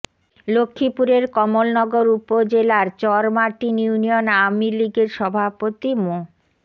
লক্ষ্মীপুরের কমলনগর উপজেলার চরমার্টিন ইউনিয়ন আওয়ামী লীগের সভাপতি মো